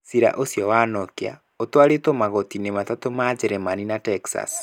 Ciira ũcio wa Nokia ũtwarĩtũo magooti-inĩ mathatũ ma Njĩrĩmani na Texas.